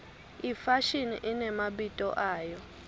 ifashini inemabito ayo